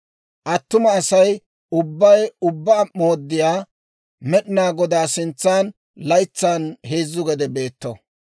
Attuma Asay ubbay Ubbaa Mooddiyaa Med'inaa Godaa sintsan laytsan heezzu gede beetto.